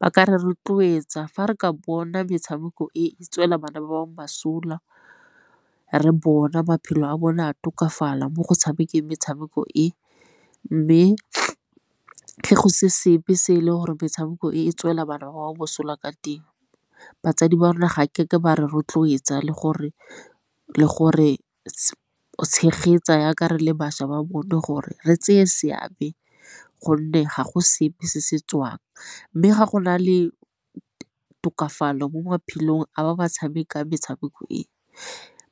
Ba ka re rotloetsa fa re ka bona metshameko e tswela bana ba bangwe mosola, re bona maphelo a bona a tokafala mo go tshamekeng metshameko e. Mme go se sepe se e leng gore metshameko e, e tswela bana ba mosola ka teng batsadi ba rona ga ke ke ba re rotloetsa le gore tshegetsa yaka re le bašwa ba bone gore re tseye seabe gonne ga go sepe se se tswang. Mme ga go na le tokafalo mo maphelong a ba ba tshamekang metshameko,